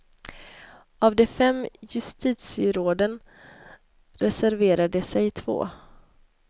Av de fem justitieråden reserverade sig två.